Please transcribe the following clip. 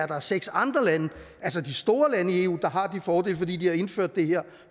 der er seks andre lande altså de store lande i eu der har de fordele fordi de har indført det her